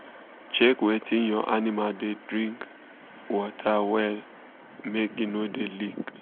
check wetin ur animal da drink water wella make e no da leak